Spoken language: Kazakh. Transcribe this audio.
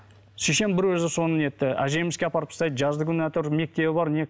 шешем бір өзі соны нетті әжемізге апарып тастайды жазды күні әйтеуір мектебі бар не